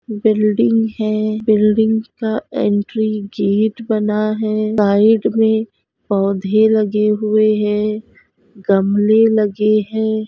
Building है building का entry gate बना है साइड में पौधे लगे हुए है गमले लगे है।